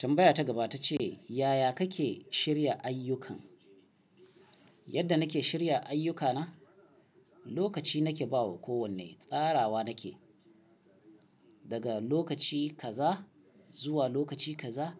Tambaya ta gaba ta ce, "Yaya kake shirya ayyukan?" "Yadda nake shirya ayyukana, lokaci nake ba wa kowane tsarawa nake, daga lokaci kaza zuwa lokaci kaza